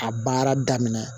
A baara daminɛ